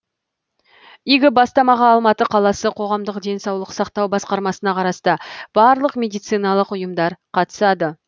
игі бастамаға алматы қаласы қоғамдық денсаулық сақтау басқармасына қарасты барлық медициналық ұйымдар қатысады